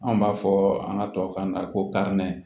An b'a fɔ an ka tubabukan na ko